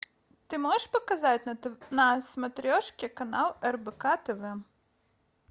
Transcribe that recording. ты можешь показать на смотрешке канал рбк тв